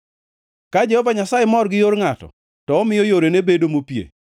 Ka Jehova Nyasaye mor gi yor ngʼato, to omiyo yorene bedo mopie;